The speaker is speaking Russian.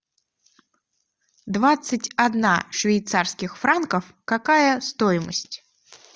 двадцать одна швейцарских франков какая стоимость